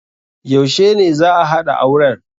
Yaushe ne za'a haɗa auren?